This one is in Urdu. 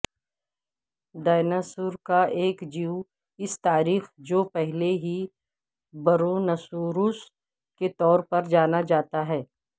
ڈیناسور کا ایک جیواس تاریخ جو پہلے ہی برونسوروس کے طور پر جانا جاتا ہے